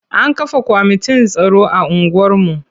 An kafa kwamitin tsaro a unguwarmu.